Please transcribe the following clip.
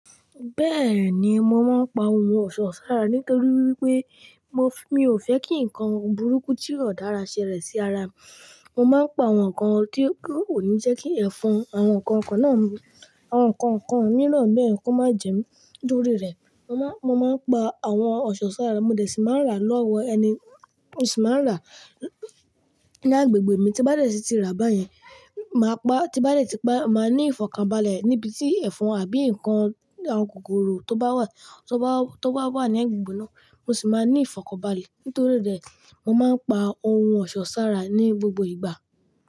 Bẹ́ẹ̀ni, mo máa ń pa ohun ọ̀ṣọ́ sára nítorí wípé mo, mi ò fẹ́ kí ǹkan burúkú tí o dára ṣẹlẹ̀ sí ara mi. Mo máa ń pa àwọn ǹkan tí kò ní jẹ́ kí ẹ̀fọn àwọn ǹkan kan náà, àwọn ǹkan kan mìíràn bẹ́ẹ̀ kó má jẹ mí. Nítorí rẹ̀, mo ma mo máa ń pa àwọn ọ̀ṣọ́ sára, mo dẹ̀ sì máa ń rà lọ́wọ́ ẹni mo sì máa ń rà lágbègbè mi, tí bá dẹ̀ sì ti rà báyẹn, màá pa, tí bá dẹ̀ tí pa, màá ní ìfọ̀kànbalẹ̀ níbi tí ẹ̀fọn àbí ǹkan àwọn kòkòrò tó bá wà, tó bá, tó bá wà ní agbègbè náà mo sì máa ní ìfọ̀kànbalẹ̀. Nítorí rẹ̀, mo máa ń pa ohun ọ̀ṣọ́ sára ní gbogbo ìgbà.